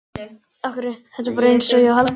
Þetta er bara einsog hjá Halldóri